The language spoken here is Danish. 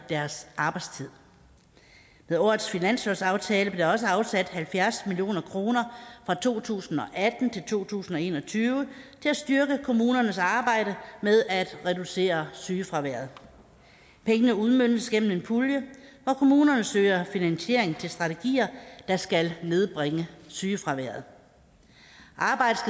deres arbejdstid med årets finanslovsaftale blev der også afsat halvfjerds million kroner fra to tusind og atten til to tusind og en og tyve til at styrke kommunernes arbejde med at reducere sygefraværet pengene udmøntes gennem en pulje og kommunerne søger finansiering til strategier der skal nedbringe sygefraværet arbejdet